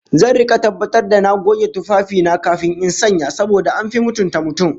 Zan rika tabbatar da na goge tufafi na kafin in sanya, saboda an fi mutunta mutum